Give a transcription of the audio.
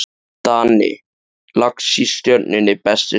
Danni Lax í Stjörnunni Besti samherjinn?